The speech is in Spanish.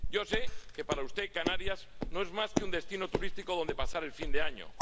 Yo sé que para usted Canarias no es más que un destino turístico donde pasar el fin de año.